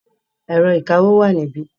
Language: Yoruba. Ẹ̀rọ ìkawó wà níbí.